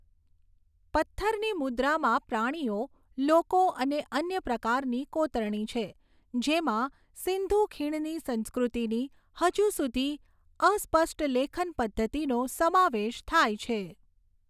પથ્થરની મુદ્રામાં પ્રાણીઓ, લોકો અને અન્ય પ્રકારની કોતરણી છે, જેમાં સિંધુ ખીણની સંસ્કૃતિની હજુ સુધી અસ્પષ્ટ લેખન પદ્ધતિનો સમાવેશ થાય છે.